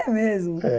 É mesmo? É